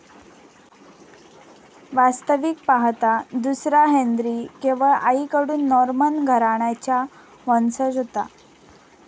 वास्तविक पाहता दुसरा हेन्री केवळ आईकडून नॉर्मन घराण्याचा वंशज होता.